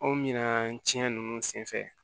Anw mina cɛn nunnu senfɛ